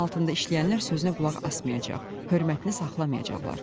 Əlin altında işləyənlər sözünə qulaq asmayacaq, hörmətini saxlamayacaqlar.